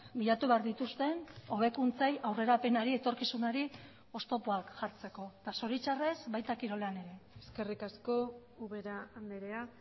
bilatu behar dituzten hobekuntzei aurrerapenari etorkizunari oztopoak jartzeko eta zoritxarrez baita kirolean ere eskerrik asko ubera andrea